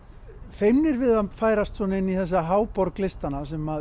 feimnir við að færast inn í þessa háborg listanna sem